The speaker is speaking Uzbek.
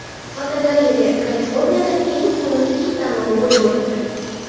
Fotogalereya: Kaliforniyada eng xunuk it tanlovi bo‘lib o‘tdi.